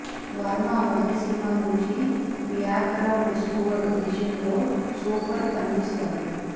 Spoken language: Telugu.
వర్మ మొదటి సినిమా నుంచి బ్యాక్ గ్రౌండ్ స్కోర్ విషయంలో సూపర్బ్ అనిపిస్తాడు